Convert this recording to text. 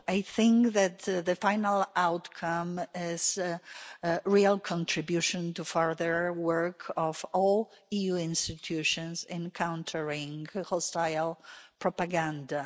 I think that the final outcome is a real contribution to further work by all EU institutions in countering hostile propaganda.